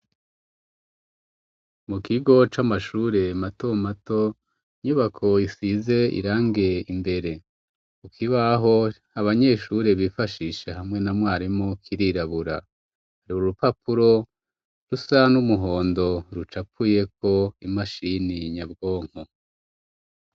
Mu kigo c'amashure mato mato inyubako isize irangie imbere ukibaho abanyeshure bifashisha hamwe na mwarimu kirirabura hariuba urupapuro rusa n'umuhondo ruca apuyeko imashini nyabwonko.